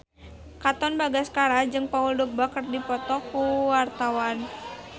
Katon Bagaskara jeung Paul Dogba keur dipoto ku wartawan